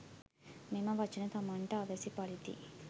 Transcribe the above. මෙම වචන තමන්ට අවැසි පරිදි